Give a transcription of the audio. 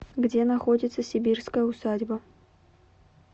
где находится сибирская усадьба